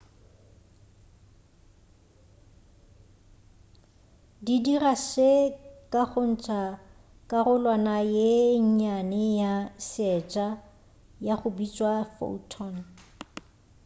di dira se ka go ntša karolwana ye nnyane ya seetša ya go bitšwa photon